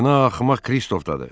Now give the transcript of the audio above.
Günah axmaq Kristofdadır.